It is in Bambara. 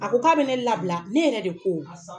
A ko k'a bɛ ne labila ne yɛrɛ de ko A san